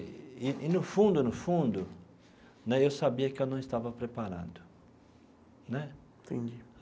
E e, no fundo, no fundo né, eu sabia que eu não estava preparado né. Entendi.